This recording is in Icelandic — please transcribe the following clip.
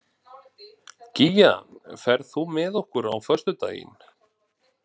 Gígja, ferð þú með okkur á föstudaginn?